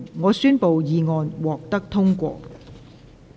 我宣布議案獲得通過。